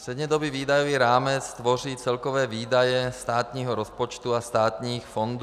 Střednědobý výdajový rámec tvoří celkové výdaje státního rozpočtu a státních fondů.